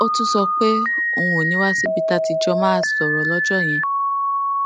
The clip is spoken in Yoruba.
ó tún sọ pé òun ò ní wá síbi tá a ti jọ máa sòrò lójó yẹn